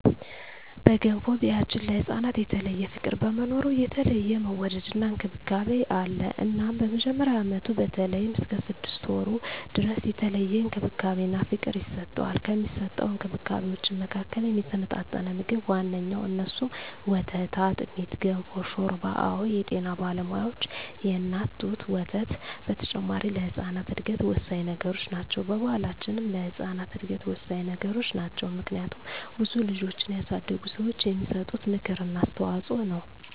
በገንፎ ቢያችን ለህፃናት የተለየ ፍቅር በመኖሩ የተለየ መወደድና እንክብካቤ አለ እናም በመጀመሪያ አመቱ በተለይም እስከ ስድስት ወሩ ድረስ የተለየ እንክብካቤና ፍቅር ይሰጠዋል። ከሚሰጠዉ እንክብካቤወች መካከልም የተመጣጠነ ምግብ ዋነኛዉ እነሱም፦ ወተት፣ አጥሚት፣ ገንፎ፣ ሾርባ አወ የጤና ባለሙያዋች የእናት ጡት ወተት በተጨማሪ ለህጻናት እድገት ወሳኚ ነገሮች ናቸው። በባሕላችንም ለህጻናት እድገት ወሳኚ ነገሮች ናቸው። ምክንያቱም ብዙ ልጆችን ያሳደጉ ሰዋች የሚሰጡት ምክር እና አስተዋጾ ነው።